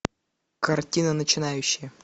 картина начинающие